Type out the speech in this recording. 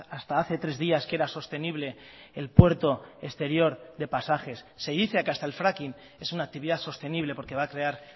hasta hace tres días que era sostenible el puerto exterior de pasajes se dice que hasta el fracking es una actividad sostenible porque va a crear